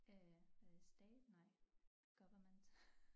Øh øh stat nej government